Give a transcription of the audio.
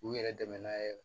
K'u yɛrɛ dɛmɛ n'a ye yɛrɛ